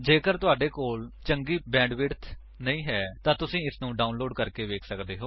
ਜੇਕਰ ਤੁਹਾਡੇ ਕੋਲ ਚੰਗੀ ਬੈਂਡਵਿਡਥ ਨਹੀਂ ਹੈ ਤਾਂ ਤੁਸੀ ਇਸਨੂੰ ਡਾਉਨਲੋਡ ਕਰਕੇ ਵੇਖ ਸੱਕਦੇ ਹੋ